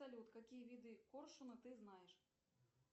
салют какие виды коршуна ты знаешь